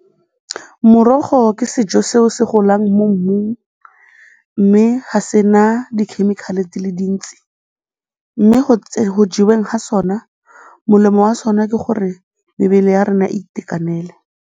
Morogo ke sejo seo se golang mo mmung mme ga se na di-chemical-e di le dintsi mme go jeweng ga sona, molemo wa sona ke gore mebele ya rona e itekanele.